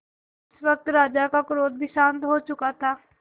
इस वक्त राजा का क्रोध भी शांत हो चुका था